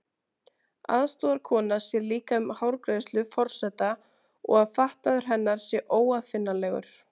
Aðstoðarkona sér líka um hárgreiðslu forseta, og að fatnaður hennar sé óaðfinnanlegur.